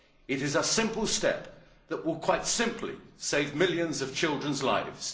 It is a simple step that will quite simply save millions of children's lives.